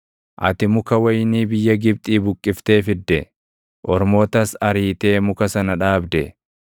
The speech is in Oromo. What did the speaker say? Ati muka wayinii biyya Gibxii buqqiftee fidde; ormootas ariitee muka sana dhaabde.